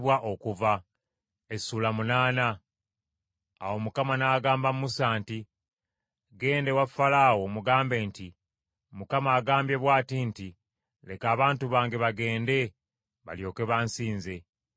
Awo Mukama n’agamba Musa nti, “Ggenda ewa Falaawo omugambe nti, ‘ Mukama agambye bw’ati nti, “Leka abantu bange bagende, balyoke bansinze.